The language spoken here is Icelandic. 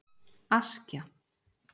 Askja